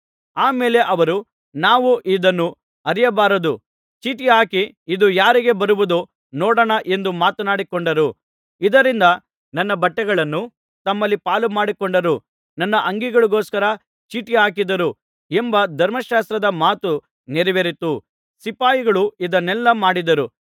ಆಮೇಲೆ ಅವರು ನಾವು ಇದನ್ನು ಹರಿಯಬಾರದು ಚೀಟು ಹಾಕಿ ಇದು ಯಾರಿಗೆ ಬರುವುದೋ ನೋಡೋಣ ಎಂದು ಮಾತನಾಡಿಕೊಂಡರು ಇದರಿಂದ ನನ್ನ ಬಟ್ಟೆಗಳನ್ನು ತಮ್ಮಲ್ಲಿ ಪಾಲುಮಾಡಿಕೊಂಡರು ನನ್ನ ಅಂಗಿಗೋಸ್ಕರ ಚೀಟು ಹಾಕಿದರು ಎಂಬ ಧರ್ಮಶಾಸ್ತ್ರದ ಮಾತು ನೆರವೇರಿತು ಸಿಪಾಯಿಗಳು ಇದನ್ನೆಲ್ಲಾ ಮಾಡಿದರು